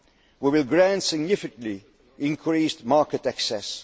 We will grant significantly increased market